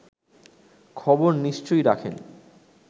খবর নিশ্চয় রাখেন